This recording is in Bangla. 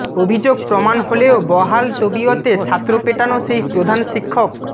অভিযোগ প্রমাণ হলেও বহাল তবিয়তে ছাত্র পেটানো সেই প্রধান শিক্ষক